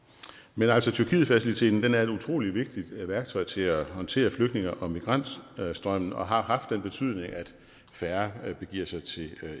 men altså tyrkietfaciliteten er et utrolig vigtigt værktøj til at håndtere flygtninge og migrantstrømme og har haft den betydning at færre begiver sig til